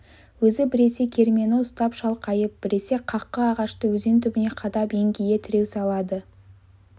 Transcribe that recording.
өзі біресе кермені ұстап шалқайып біресе қаққы ағашты өзен түбіне қадап еңкейе тіреу салады